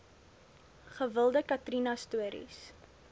gewilde katrina stories